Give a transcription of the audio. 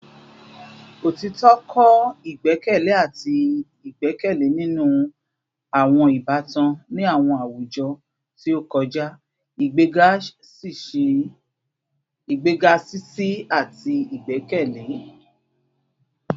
Otitọ kọ igbẹkẹle ati igbẹkẹle ninu awọn ibatan ni awọn awujọ ti o kọja, igbega ṣiṣi ati igbẹkẹle